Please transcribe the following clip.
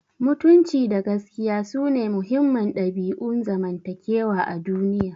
Mutunci da gaskiya sune muhimman dabi'un zamantakewa a duniya.